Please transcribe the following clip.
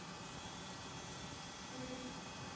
En hvernig er að vinna í kringum íslenska hópinn?